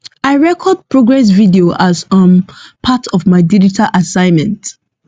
i record progress videos as um part of my digital assignment